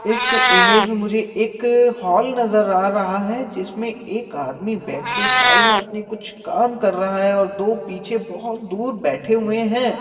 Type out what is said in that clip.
इस ईमेज में मुझे एक हॉल नज़र आ रहा है जिसमें एक आदमी बैठके फाइल में अपनी कुछ काम कर रहा है और दो पीछे बहुत दूर बैठे हुए हैं।